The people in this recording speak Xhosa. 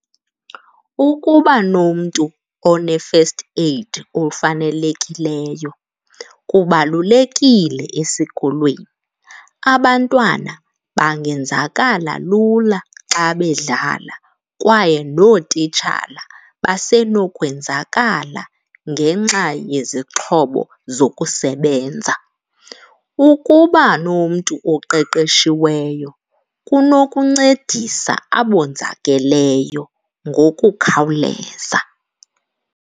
Ukuba nomntu one-first aid ofanelekileyo kubalulekile esikolweni. Abantwana bangenzakala lula xa bedlala kwaye nootitshala basenokwenzakala ngenxa yezixhobo zokusebenza. Ukuba nomntu oqeqeshiweyo kunokuncedisa abonzakeleyo ngokukhawuleza.